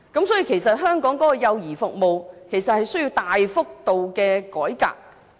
所以，香港的幼兒服務需要大幅度的改革。